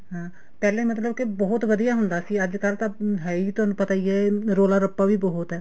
ਹਾਂ ਪਹਿਲਾਂ ਮਤਲਬ ਕੇ ਬਹੁਤ ਵਧੀਆ ਹੁੰਦਾ ਸੀ ਅੱਜਕਲ ਤਾਂ ਹੈ ਹੀ ਤੁਹਾਨੂੰ ਪਤਾ ਹੀ ਹੈ ਤੁਹਾਨੂੰ ਪਤਾ ਹੀ ਹੈ ਰੋਲਾ ਰੱਪਾ ਵੀ ਬਹੁਤ ਆ